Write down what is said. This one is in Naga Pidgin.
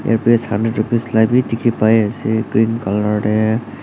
earpiece hundred rupees la bi dikhi pai asey green colour deh.